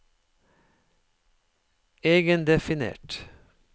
egendefinert